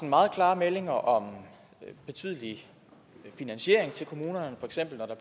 meget klare meldinger om betydelig finansiering til kommunerne for eksempel når der